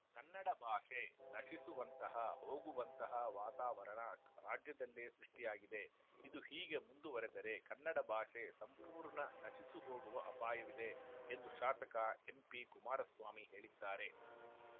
ಕನ್ನಡ ಭಾಷೆ ನಶಿಸುವಂತಹ ಹೋಗುವಂತಹ ವಾತಾವರಣ ರಾಜ್ಯದಲ್ಲೇ ಸೃಷ್ಟಿಯಾಗಿದೆ ಇದು ಹೀಗೆ ಮುಂದುವರೆದರೆ ಕನ್ನಡ ಭಾಷೆ ಸಂಪೂರ್ಣ ನಶಿಸುಹೋಗುವ ಅಪಾಯವಿದೆ ಎಂದು ಶಾಸಕ ಎಂಪಿಕುಮಾರಸ್ವಾಮಿ ಹೇಳಿದ್ದಾರೆ